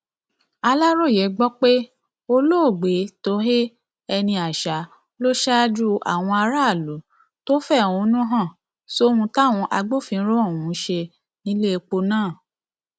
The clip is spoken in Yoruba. aláròye gbọ pé olóògbé tohéé énìáṣà ló ṣáájú àwọn aráàlú tó fẹhónú hàn sóhun táwọn agbófinró ohùn ṣe nílẹpọ náà